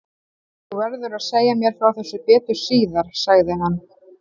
Þú verður að segja mér frá þessu betur síðar sagði hann.